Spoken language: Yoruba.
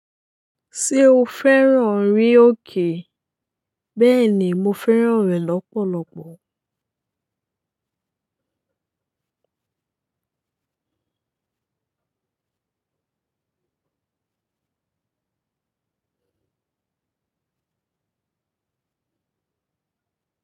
Ṣé o fẹ́ràn rín òkè? Bẹ́ẹ̀ ni, mo fẹ́ràn rẹ̀ lọ́pọ̀lọpọ̀.